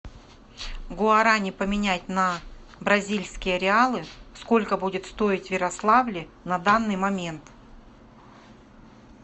гуарани поменять на бразильские реалы сколько будет стоить в ярославле на данный момент